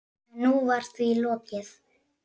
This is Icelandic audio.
En nú var því lokið.